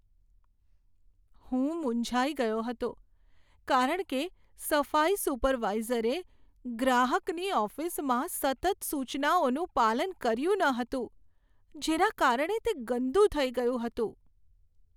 હું મૂંઝાઈ ગયો હતો કારણ કે સફાઈ સુપરવાઈઝરે ગ્રાહકની ઓફિસમાં સતત સૂચનાઓનું પાલન કર્યું ન હતું જેના કારણે તે ગંદુ થઈ ગયું હતું.